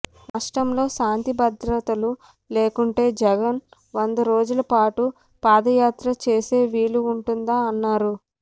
రాష్ట్రంలో శాంతిభద్రతలు లేకుంటే జగన్ వందల రోజుల పాటు పాదయాత్ర చేసే వీలు ఉంటుందా అన్నారు